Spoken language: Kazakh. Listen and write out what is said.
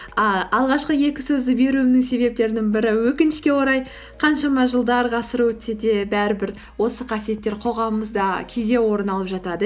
і алғашқы екі сөзді беруімнің себептерінің бірі өкінішке орай қаншама жылдар ғасыр өтсе де бәрібір осы қасиеттер қоғамымызда кейде орын алып жатады